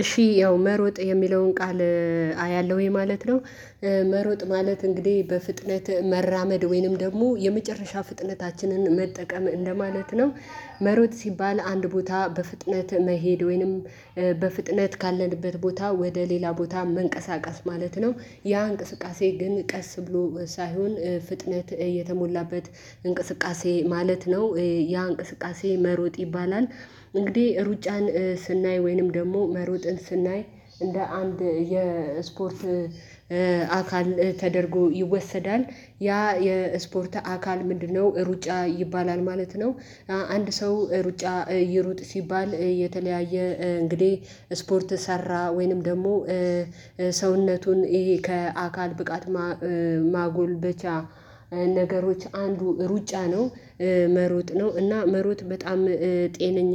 እሺ ያው መሮጥ የሚለውን ቃል አያለሁወኝ ማለት ነው። መሮጥ ማለት እንግዲህ በፍጥነት መራመድ ወይንም ደግሞ የመጨረሻ ፍጥነታችንን መጠቀም እንደማለት ነው። መሮጥ ሲባል አንድ ቦታ በፍጥነት መሄድ ወይንም በፍጥነት ካለንበት ቦታ ወደ ሌላ ቦታ መንቀሳቀስ ማለት ነው። ያ እንቅስቃሴ ግን ቀስ ብሎ ሳይሆን ፍጥነት የተሞላበት እንቅስቃሴ ማለት ነው ያ እንቅስቃሴ መሮጥ ይባላል። እንግዲህ ሩጫን ስናይ ወይንም ደግሞ መሮጥን ስናይ እንደ አንድ የስፖርት አካል ተደርጎ ይወሰዳል ያ የስፖርት አካል ምንድነው ሩጫ ይባላል ማለት ነው። አንድ ሰው ሩጫ ይሩጥ ሲባል የተለያየ እንግዲህ ስፖርት ሰራ ወይንም ደግሞ ሰውነቱን ይሄ ከአካል ብቃት ማጎልበቻ ነገሮች አንዱ ሩጫ ነው። መሮጥ ነው እና መሮጥ በጣም ጤነኛ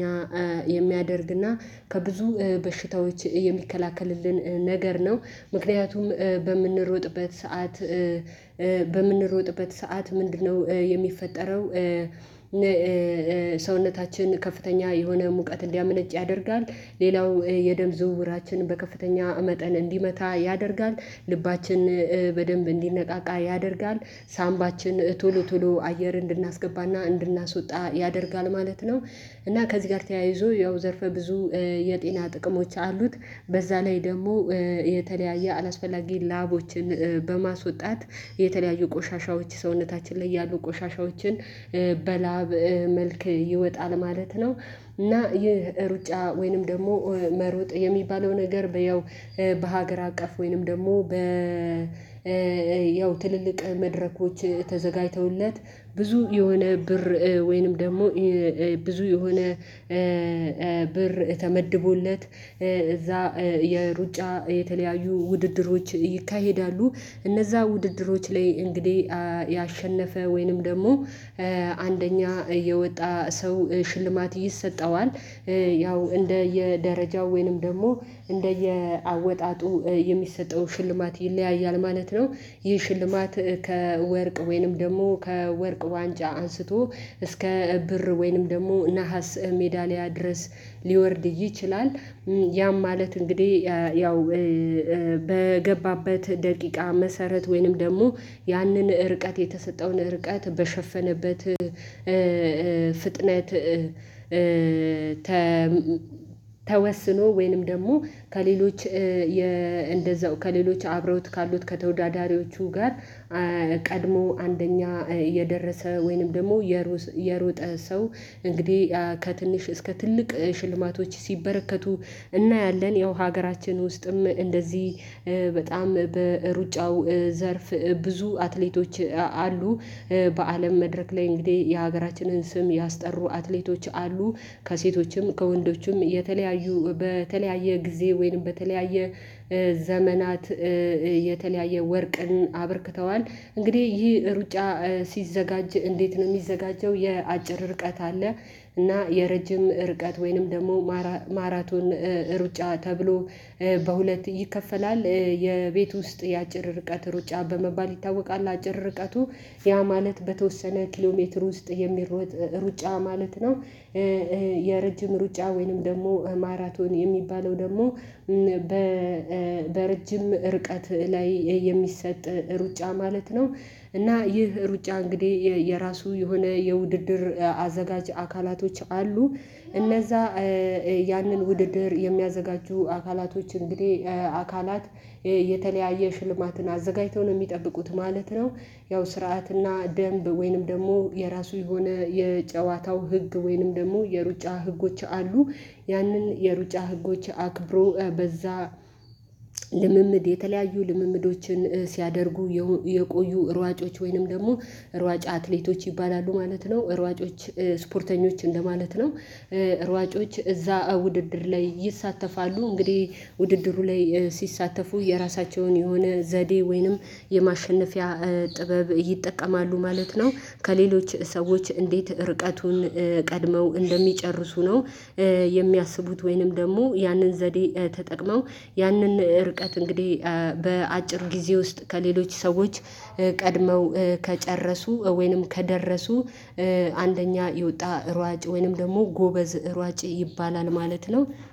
የሚያደርግና ከብዙ በሽታዎች የሚከላከልልን ነገር ነው። ምክንያቱም በምንሮጥበት ሰዓት በምንኖጥበት ሰዓት ምንድነው የሚፈጠረው? ሰውነታችን ከፍተኛ የሆነ ሙቀት እንዲያመነጭ ያደርጋል ሌላው የደም ዝውውራችንን በከፍተኛ መጠን እንዲመታ ያደርጋል ልባችን በደንብ እንዲነቃቃ ያደርጋል ሳምባችን ቶሎ ቶሎ አየር እንድናስገባ እና እንድናስወጣ ያደርጋል ማለት ነው። እና ከዚህ ጋር ተያይዞ ያው ዘርፈ ብዙ የጤና ጥቅሞች አሉት። በዛ ላይ ደግሞ የተለያየ አላስፈላጊ ላቦችን በማስወጣት የተለያዩ ቆሻሻዎች ሰውነታችን ላይ ያሉ ቆሻሻዎችን በላብ መልክ ይወጣል ማለት ነው። እና ይህ ሩጫ ወይንም ደግሞ መሮጥ የሚባለው ነገር ያው በሀገር አቀፍ ወይንም ደግሞ በ ያው ትልልቅ መድረኮች ተዘጋጅተውለት ብዙ የሆነ ብር ወይንም ደግሞ ብዙ የሆነ ብር ተመድቦለት እዛ የሩጫ የተለያዩ ውድድሮች ይካሄዳሉ። እነዛ ውድድሮች ላይ እንግዲህ ያሸነፈ ወይንም ደግሞ አንደኛ የወጣ ሰው ሽልማት ይሰጠዋል። ያው እንደየደረጃው ወይንም ደግሞ እንደየ አወጣጡ የሚሰጠው ሽልማት ይለያያል ማለት ነው። ይህ ሽልማት ከወርቅ ወይንም ደግሞ ከወርቅ ዋንጫ አንስቶ እስከ ብር ወይንም ደግሞ ነሀስ ሜዳሊያ ድረስ ሊወርድ ይችላል። ያም ማለት እንግዲህ ያው በገባበት ደቂቃ መሰረት ወይንም ደግሞ ያንን ርቀት የተሰጠውን ርቀት በሸፈነበት ፍጥነት ተወስኖ ወይንም ደግሞ ከሌሎች እንደዛው ከሌሎች አብረውት ካሉት ከተወዳዳሪዎቹ ጋር ቀድሞ አንደኛ የደረሰ ወይንም ደግሞ የሮጠ ሰው እንግዲህ ከትንሽ እስከ ትልቅ ሽልማቶች ሲበረከቱ እናያለን። ያው ሀገራችን ውስጥም እንደዚህ በጣም በሩጫው ዘርፍ ብዙ አትሌቶች አሉ። በአለም መድረክ ላይ እንግዲህ የሀገራችንን ስም ያስጠሩ አትሌቶች አሉ። ከሴቶችም ከወንዶችም የተለያዩ በተለያየ ጊዜ ወይም በተለያየ ዘመናት የተለያየ ወርቅን አበርክተዋል። እንግዲህ ይህ ሩጫ ሲዘጋጅ እንዴት ነው የሚዘጋጀው? የአጭር ርቀት አለ። እና የረጅም ርቀት ወይንም ደግሞ ማራቶን ሩጫ ተብሎ በሁለት ይከፈላል። የቤት ውስጥ ያጭር ርቀት ሩጫ በመባል ይታወቃል አጭር ርቀቱ ያ ማለት በተወሰነ ኪሎ ሜትር ውስጥ የሚሮጥ ሩጫ ማለት ነው። የረጅም ሩጫ ወይንም ደግሞ ማራቶን የሚባለው ደግሞ በረጅም ርቀት ላይ የሚሰጥ ሩጫ ማለት ነው። እና ይህ ሩጫ እንግዲህ የራሱ የሆነ የውድድር አዘጋጅ አካላቶች አሉ። እነዛ ያንን ውድድር የሚያዘጋጁ አካላቶች እንግዲህ አካላት የተለያየ ሽልማትን አዘጋጅተው ነው የሚጠብቁት ማለት ነው። ያው ስርዓትና ደንብ ወይንም ደግሞ የራሱ የሆነ የጨዋታው ህግ ወይንም ደግሞ የሩጫ ህጎች አሉ። ያንን የሩጫ ህጎች አክብሮ በዛ ልምምድ የተለያዩ ልምምዶችን ሲያደርጉ የቆዩ ሯጮች ወይንም ደግሞ ሯጭ አትሌቶች ይባላሉ ማለት ነው ሯጮች ስፖርተኞች እንደማለት ነው። ሯጮች እዛ ውድድር ላይ ይሳተፋሉ እንግዲህ ውድድሩ ላይ ሲሳተፉ የራሳቸውን የሆነ ዘዴ ወይንም የማሸነፊያ ጥበብ ይጠቀማሉ ማለት ነው። ከሌሎች ሰዎች እንዴት ርቀቱን ቀድመው እንደሚጨርሱ ነው። የሚያስቡት ወይንም ደግሞ ያንን ዘዴ ተጠቅመው ያንን ርቀት እንግዲህ በአጭር ጊዜ ውስጥ ከሌሎች ሰዎች ቀድመው ከጨረሱ ወይንም ከደረሱ አንደኛ የወጣ ሯጭ ወይንም ደግሞ ጎበዝ ሯጭ ይባላል ማለት ነው።